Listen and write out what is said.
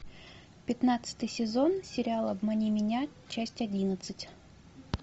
пятнадцатый сезон сериал обмани меня часть одиннадцать